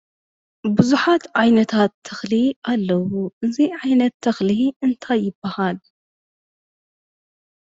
ቡዛሓት ዓይነታት ተኽሊ ኣለዉ። አዚ ዓይነት ተኽሊ እንታይ ይባሃል?